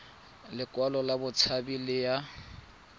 lekwalo la botshabi le ya